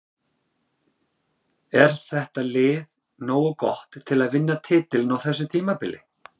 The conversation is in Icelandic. Er þetta lið nógu gott til að vinna titilinn á þessu tímabili?